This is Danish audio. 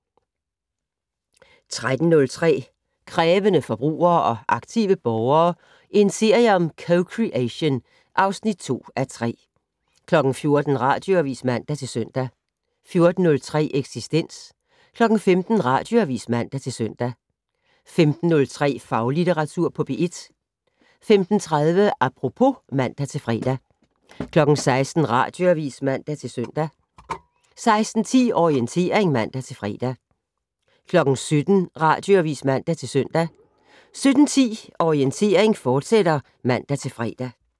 13:03: Krævende forbrugere og aktive borgere - en serie om co-creation (2:3) 14:00: Radioavis (man-søn) 14:03: Eksistens 15:00: Radioavis (man-søn) 15:03: Faglitteratur på P1 15:30: Apropos (man-fre) 16:00: Radioavis (man-søn) 16:10: Orientering (man-fre) 17:00: Radioavis (man-søn) 17:10: Orientering, fortsat (man-fre)